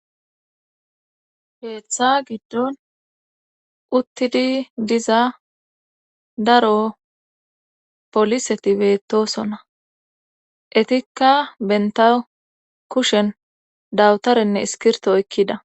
Keeththa giddon uttidi diza daro poliseti beettosona ettikka bentta kushen dawutarenne iskirto oykkida